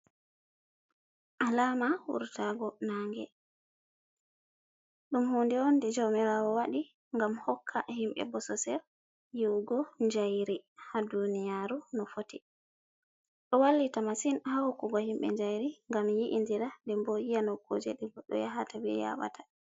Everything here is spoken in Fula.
"Alama wuratago nange ɗum hunɗe onde jamirawo waɗi ngam hokka himɓe bososel yi'ugo njayri ha duniyaru no fotti do wallita masin ha hokkugo himɓe njayri ngam yi’i ndira ɗen ɓo yi'a ha nokkuje ɓe yahata ɓe yaɓata.